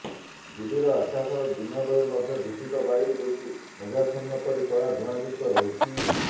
ଦିଲ୍ଲୀର ଆକାଶ ଦିନବେଳେ ମଧ୍ୟ ଦୁଷିତ ବାୟୁ ଯୋଗୁଁ ମେଘାଚ୍ଛନ୍ନ ପରି କଳା ଧୁଆଁଯୁକ୍ତ ରହୁଛି